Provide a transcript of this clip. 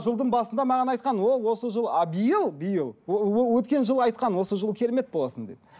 жылдың басында маған айтқан о осы жыл ал биыл биыл өткен жылы айтқан осы жылы керемет боласың деп